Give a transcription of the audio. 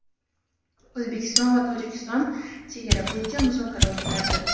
O‘zbekiston va Tojikiston chegara bo‘yicha muzokara o‘tkazdi.